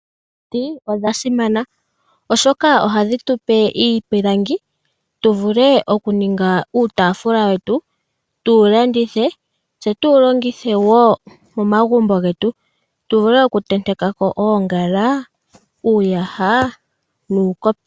Omiti odha simana oshoka ohadhi tupe iipilangi tuvule okuninga uutaafula wetu, tuwu landithe, tse tuwu longithe wo momagumbo getu, tu vule okutenteka ko oongala, uuyaha nuukopi.